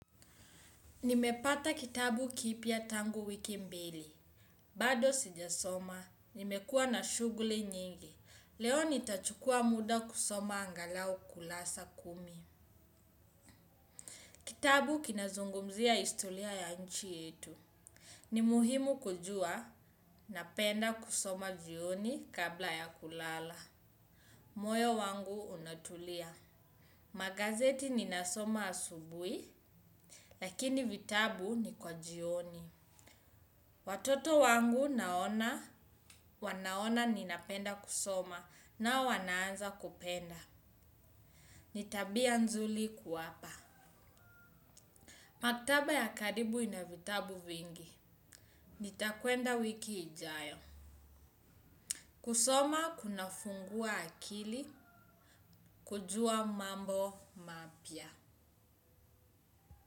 Nimepata kitabu kipya tangu wiki mbili. Bado sijasoma. Nimekua na shughuli nyingi. Leo nitachukua muda kusoma angalau kurasa kumi. Kitabu kinazungumzia historia ya nchi yetu. Ni muhimu kujua napenda kusoma jioni kabla ya kulala. Moyo wangu unatulia. Magazeti ninasoma asubuhi, lakini vitabu ni kwa jioni. Watoto wangu naona, wanaona ninapenda kusoma nao wanaanza kupenda. Ni tabia nzuri kuwapa. Maktaba ya karibu ina vitabu vingi. Nitakwenda wiki ijayo. Kusoma kunafungua akili. Kujua mambo mapya.